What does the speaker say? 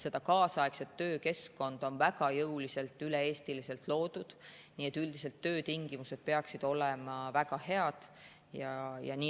Kaasaegset töökeskkonda on väga jõuliselt üle Eesti loodud, nii et töötingimused peaksid olema väga head.